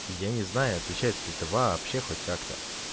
я не знаю отличается ли это вообще хоть как-то